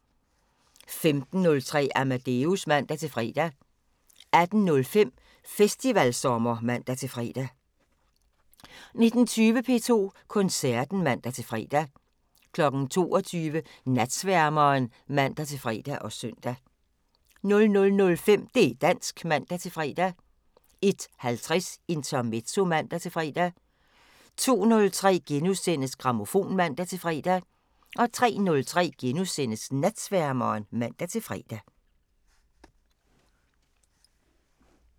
15:03: Amadeus (man-fre) 18:05: Festivalsommer (man-fre) 19:20: P2 Koncerten (man-fre) 22:00: Natsværmeren (man-fre og søn) 00:05: Det' dansk (man-fre) 01:50: Intermezzo (man-fre) 02:03: Grammofon *(man-fre) 03:03: Natsværmeren *(man-fre)